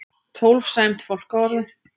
Tólf sæmd fálkaorðu